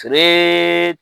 Feere